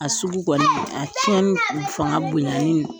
A sugu kɔni, a ciɲɛni fanga bonya ni